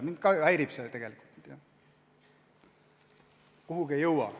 Mind ka see häirib, et ühe asjaga kuhugi ei jõuta.